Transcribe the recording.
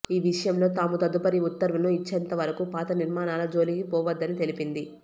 ఈ విషయంలో తాము తదుపరి ఉత్తర్వులను ఇచ్చేంత వరకు పాత నిర్మాణాల జోలికి పోవద్దని తెలిపింది